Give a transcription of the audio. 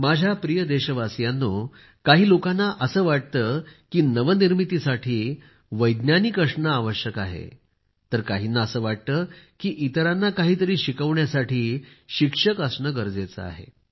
माझ्या प्रिय देशवासियांनो काही लोकांना असे वाटते की नवनिर्मितीसाठी वैज्ञानिक असणे आवश्यक आहे तर काहींना असे वाटते की इतरांना काहीतरी शिकवण्यासाठी शिक्षक असणे गरजेचे आहे